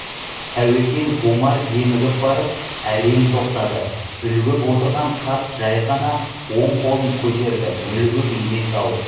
тәуекел омар демігіп барып әрең тоқтады үлгіп отырған қарт жай ғана оң қолын көтерді мүлгіп емес-ау